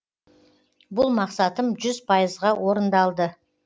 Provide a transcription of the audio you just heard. бұл мақсатым жүз пайызға орындалды